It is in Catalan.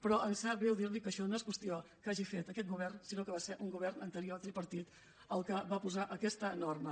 però em sap greu dir li que això no és qüestió que hagi fet aquest govern sinó que va ser un govern anterior tripartit el que va posar aquesta norma